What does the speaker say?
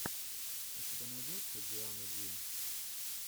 у тебя найдется диана ди